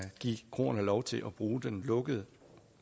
give kroerne lov til at bruge den lukkede